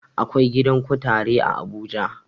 Akwai gidan kutare a abuja